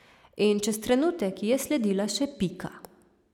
In čez trenutek ji je sledila še Pika.